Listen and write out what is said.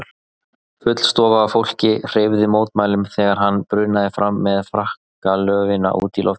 Full stofa af fólki hreyfði mótmælum þegar hann brunaði fram með frakkalöfin út í loftið.